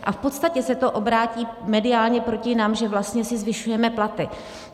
A v podstatě se to obrátí mediálně proti nám, že vlastně si zvyšujeme platy.